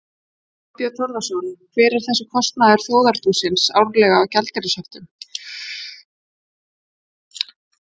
Þorbjörn Þórðarson: Hver er kostnaður þjóðarbúsins árlega af gjaldeyrishöftum?